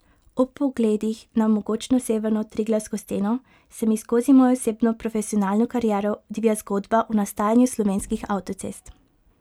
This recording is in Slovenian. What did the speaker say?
Ob pogledih na mogočno severno triglavsko steno se mi skozi mojo osebno profesionalno kariero odvija zgodba o nastajanju slovenskih avtocest.